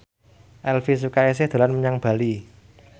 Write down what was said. Elvi Sukaesih dolan menyang Bali